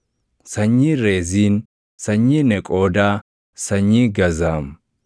sanyii Reziin, sanyii Neqoodaa, sanyii Gazaam;